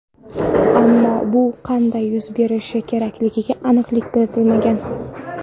Ammo bu qanday yuz berishi kerakligiga aniqlik kiritilmagan.